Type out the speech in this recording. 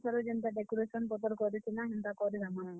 ସେଥିରେ ଯେନ୍ ତା decoration ପତର୍ କରିଥିଲାଁ ହେନ୍ ତା କରିଦେମା।